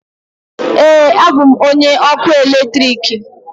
Ee, abụ m onye ọkụ eletrik.